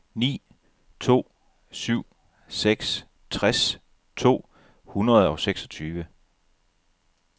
ni to syv seks tres to hundrede og seksogtyve